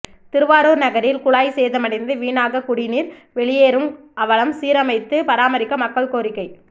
திருவாரூர் நகரில் குழாய் சேதமடைந்து வீணாக குடிநீர் வெளியேறும் அவலம் சீரமைத்து பராமரிக்க மக்கள் கோரிக்கை